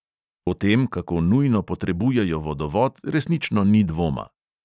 O tem, kako nujno potrebujejo vodovod, resnično ni dvoma.